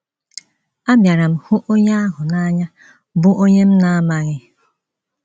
Abịara m hụ onye ahụ n’anya bụ́ onye m na - amaghị.